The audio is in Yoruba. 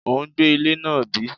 O ń gbẹ́ ilẹ̀ náà bí?